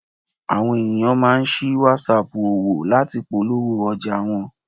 Àwọn ènìyàn máa ń sí Whatsapp òwò láti polówó ọjà wọn.